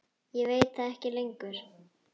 Ég veit það ekki lengur.